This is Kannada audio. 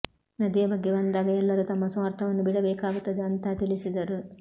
ನದಿಯ ಬಗ್ಗೆ ಬಂದಾಗ ಎಲ್ಲರೂ ತಮ್ಮ ಸ್ವಾರ್ಥವನ್ನು ಬಿಡಬೇಕಾಗುತ್ತದೆ ಅಂತಾ ತಿಳಿಸಿದರು